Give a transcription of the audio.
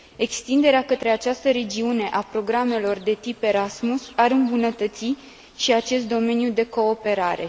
Extinderea către această regiune a programele de tip Erasmus ar îmbunătăți și acest domeniu de cooperare.